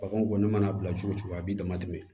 Baganw kɔni mana bila cogo o cogo a b'i damatɛmɛ